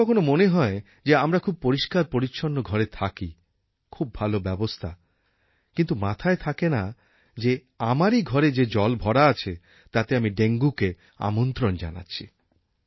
কখনও কখনও মনে হয় যে আমরা খুব পরিষ্কারপরিচ্ছন্ন ঘরে থাকি খুব ভাল ব্যবস্থা কিন্তু মাথায় থাকেন না যে আমারই ঘরে যে জল ভরা আছে তাতে আমি ডেঙ্গুকে আমন্ত্রণ জানাচ্ছি